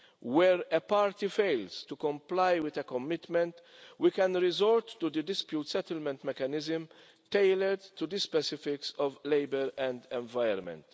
Where a party fails to comply with a commitment, we can resort to the dispute settlement mechanism, tailored to the specifics of labour and environment.